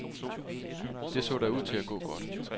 Det så da ud til at gå godt.